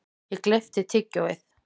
Ég gleypti tyggjóið.